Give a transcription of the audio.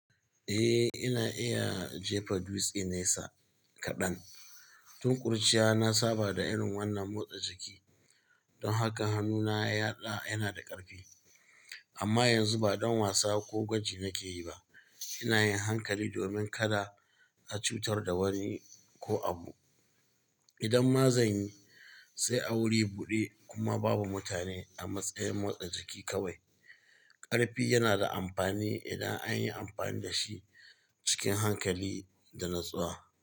Eh, ina iya jefa dutsi nesa kaɗan. Tun kuriciya na saba da irin wannan motsa jiki don haka hannuna yaɗa yana da ƙarfi. Amma yanzu ba don wasa ko gwaji nake yi ba. Ina yin hankali domin kada a cutar da wani ko abu. Idan ma zan yi, sai a wurin buɗe kuma babu mutane a matsayin motsa jiki kawai. Ƙarfi yana da amfani idan an yi amfani da shi cikin hankali da natsuwa.